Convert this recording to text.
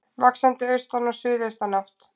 Vaxandi austan og suðaustan átt